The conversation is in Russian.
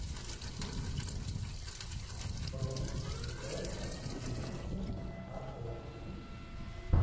бронь ип дейнекин ао